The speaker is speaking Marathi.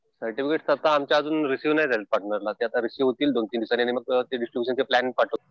सर्टिफिकिट तसं आमचे अजून रिसिव्ह नाही झाले पार्टनरला. रिसिव्ह होतील दोन-तीन दिवसांनी आणि मग ते डिस्ट्रिब्युशनचे प्लॅन पाठवतील.